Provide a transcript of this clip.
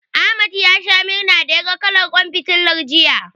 Ahmad ya sha murna da yaga kalar ƙwan fitilar, jiya.